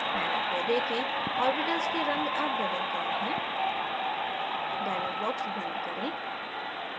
panel को देखें orbitals के रंग अब बदल गये हैं dialog box बंद करें